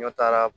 N'a taara